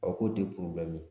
A ko